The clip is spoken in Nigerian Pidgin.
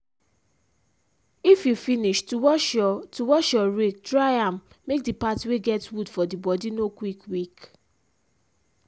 if you finish to wash your to wash your rake dry am make the part wey get wood for the bodi no quick weak.